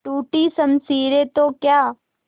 टूटी शमशीरें तो क्या